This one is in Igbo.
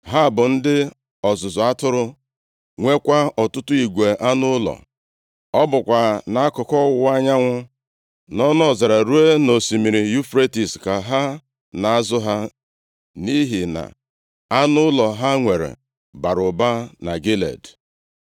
Ha bụ ndị ọzụzụ atụrụ, nwekwa ọtụtụ igwe anụ ụlọ. Ọ bụkwa nʼakụkụ ọwụwa anyanwụ, nʼọnụ ọzara ruo nʼosimiri Yufretis ka ha na-azụ ha, nʼihi na anụ ụlọ ha nwere bara ụba na Gilead.